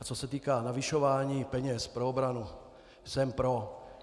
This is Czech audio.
A co se týká navyšování peněz pro obranu, jsem pro.